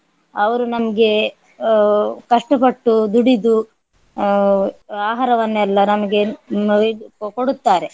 ಅವರು ನಮ್ಗೆ ಆಹ್ ಕಷ್ಟ ಪಟ್ಟು ದುಡಿದು ಆಹ್ ಆಹಾರವನ್ನೆಲ್ಲ ನಮ್ಗೆ ಆಹ್ ಇದು ಕೊಡುತ್ತಾರೆ.